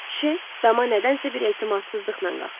Şeyx dama nədənsə bir etimadsızlıqla qalxdı.